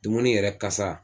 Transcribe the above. Dumuni yɛrɛ kasa